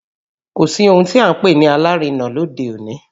Kò sí ohun tí à ń pè ní alárinà lóde òní